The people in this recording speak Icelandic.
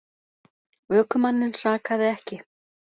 Ökumanninn sakaði ekki